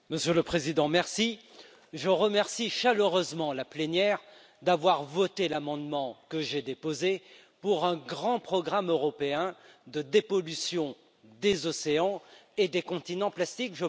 Monsieur le Président, je remercie chaleureusement la plénière d'avoir voté l'amendement que j'ai déposé pour un grand programme européen de dépollution des océans et des continents plastiques.